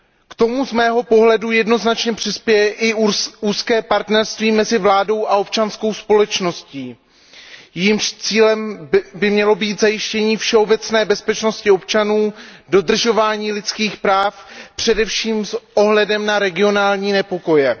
K tomu z mého pohledu jednoznačně přispěje i úzké partnerství mezi vládou a občanskou společností, jehož cílem by mělo být zajištění všeobecné bezpečnosti občanů, dodržování lidských práv především s ohledem na regionální nepokoje.